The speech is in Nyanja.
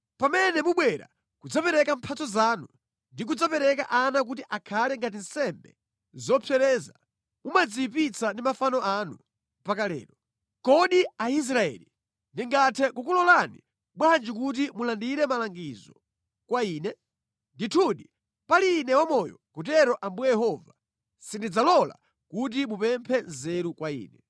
Pamene mubwera kudzapereka mphatso zanu ndi kudzapereka ana kuti akhale ngati nsembe zopsereza mumadziyipitsa ndi mafano anu mpaka lero. Kodi Aisraeli, ndingathe kukulolani bwanji kuti mulandire malangizo kwa Ine? Ndithu pali Ine wamoyo, akutero Ambuye Yehova, sindidzalola kuti mupemphe nzeru kwa Ine.